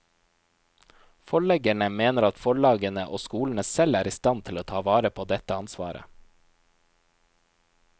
Forleggerne mener at forlagene og skolene selv er i stand til å ta vare på dette ansvaret.